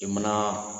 I mana